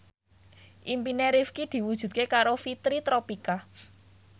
impine Rifqi diwujudke karo Fitri Tropika